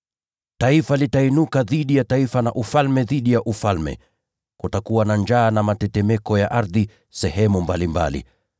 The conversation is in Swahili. Taifa litainuka dhidi ya taifa, na ufalme dhidi ya ufalme. Kutakuwa na njaa na mitetemeko ya ardhi sehemu mbalimbali.